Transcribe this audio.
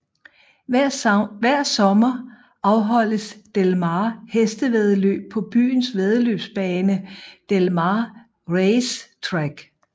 Hver sommer afholdes Del Mar Hestevæddeløb på byens væddeløbsbane Del Mar Racetrack